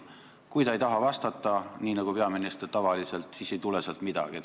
Kui ta ei taha vastata, nii nagu peaminister tavaliselt, siis ei tule sealt midagi.